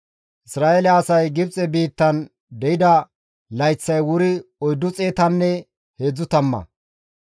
Isra7eele asay Gibxe biittan deyida layththay wuri oyddu xeetanne heedzdzu tamma.